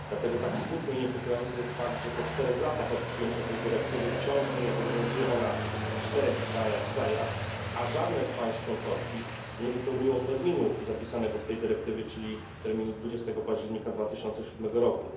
Dlatego tak smutny i niepokojący jest fakt, że po 4 latach od przyjęcia tej dyrektywy wciąż nie obowiązuje ona w 4 krajach, a żadne z państw członkowskich nie zmieściło się w terminie zapisanym w tej dyrektywie, czyli 20 października 2007 roku.